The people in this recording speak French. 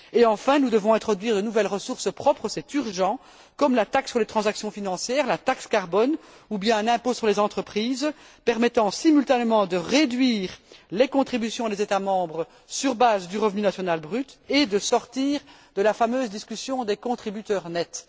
Enfin, nous devons introduire de nouvelles ressources propres c'est urgent comme la taxe sur les transactions financières, la taxe carbone ou bien un impôt sur les entreprises permettant, simultanément, de réduire les contributions des États membres sur base du revenu national brut et de sortir de la fameuse discussion des contributeurs nets.